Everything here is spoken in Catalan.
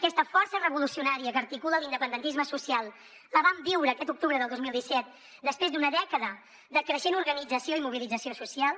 aquesta força revolucionària que articula l’independentisme social la vam viure aquest octubre del dos mil disset després d’una dècada de creixent organització i mobilització socials